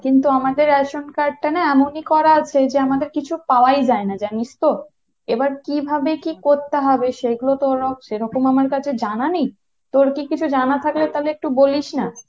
কিন্তু আমাদের ration card টা না এমনি করা আছে যে আমাদের কিছু পাওয়াই যায় না জানিস তো এবার কিভাবে কি করতে হবে সেগুলোতে সেরকম আমার কাছে জানা নেই, তোর কী কিছু জানা থাকলে তাহলে একটু বলিস না।